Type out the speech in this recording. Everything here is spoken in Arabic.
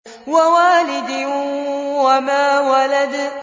وَوَالِدٍ وَمَا وَلَدَ